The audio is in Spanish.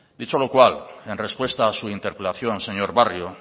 dicho lo cual en respuesta a su interpelación señor barrio